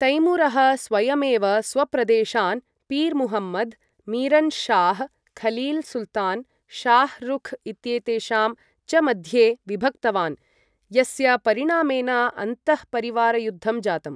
तैमूरः स्वयमेव स्वप्रदेशान् पीर् मुहम्मद्, मिरन् शाह्, खलील् सुल्तान्, शाह् रुख् इत्येतेषां च मध्ये विभक्तवान्, यस्य परिणामेन अन्तःपरिवारयुद्धं जातम्।